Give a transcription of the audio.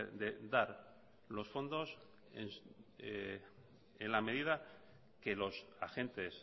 de dar los fondos en la medida que los agentes